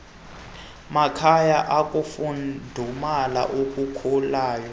makhaya ukufudumala okukhulayo